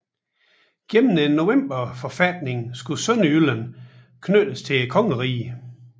Gennem Novemberforfatningen skulle Sønderjylland knyttes til kongeriget